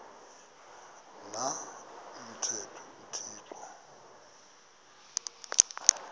na umthetho uthixo